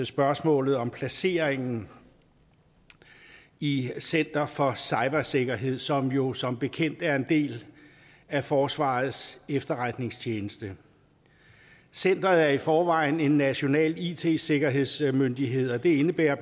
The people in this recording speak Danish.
spørgsmålet om placeringen i center for cybersikkerhed som jo som bekendt er en del af forsvarets efterretningstjeneste centeret er i forvejen en national it sikkerhedsmyndighed det indebærer